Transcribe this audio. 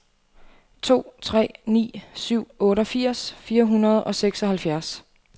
to tre ni syv otteogfirs fire hundrede og seksoghalvtreds